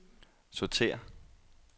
sortér